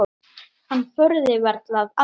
Hann þorði varla að anda.